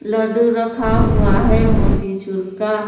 लड्डू रखा हुआ है मोतीचूर का।